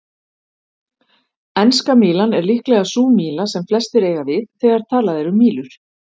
Enska mílan er líklega sú míla sem flestir eiga við þegar talað er um mílur.